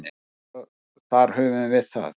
Svo þar höfum við það.